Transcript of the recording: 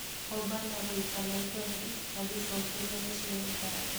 Obama gũita maithori agĩcokeria Michelle ngatho.